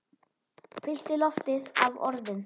Fyllti loftið af orðum.